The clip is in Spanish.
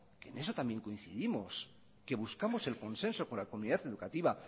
en eso también coincidimos que busquemos el consenso con la comunidad educativa